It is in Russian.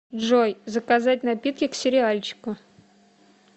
джой заказать напитки к сериальчику